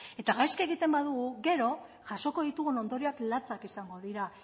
eta gaizki egiten badugu gero jasoko ditugun ondorioak latzak izango dira